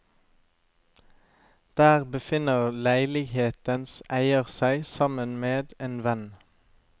Der befinner leilighetens eier seg sammen med en venn.